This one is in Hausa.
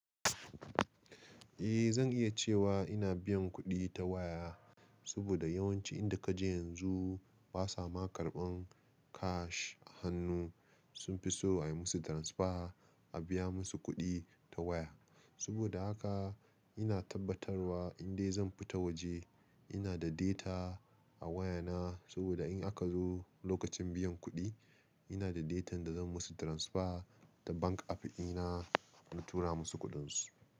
Eh zan iya cewa ina biyan kuɗi ta waya, saboda yawanci inda kaje yanzu ba sa ma karɓan kash a hannu. Sun fi so a yi musu transfer, a biya musu kuɗi ta waya. Saboda haka ina tabbatarwa indai zan fita waje ina da data a wayana, saboda in aka zo lokacin biyan kuɗi ina da datan da zan musu transfer da bank app dina in tura musu kuɗin su.